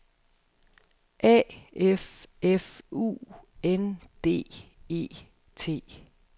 A F F U N D E T